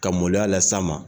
Ka moloya las'a ma